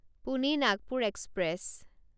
Pune Nagpur express